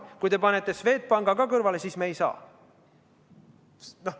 Kui te panete Swedbanki kõrvale, siis me ei saa.